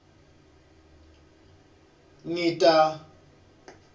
ngita